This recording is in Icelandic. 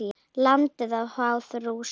Landið háð Rússum?